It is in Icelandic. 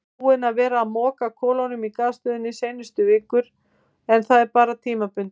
Búinn að vera að moka kolum í gasstöðinni seinustu vikur en það er bara tímabundið.